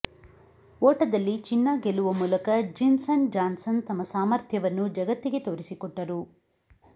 ಓಟದಲ್ಲಿ ಚಿನ್ನ ಗೆಲ್ಲುವ ಮೂಲಕ ಜಿನ್ಸನ್ ಜಾನ್ಸನ್ ತಮ್ಮ ಸಾಮರ್ಥ್ಯ ವನ್ನು ಜಗತ್ತಿಗೆ ತೋರಿಸಿಕೊಟ್ಟರು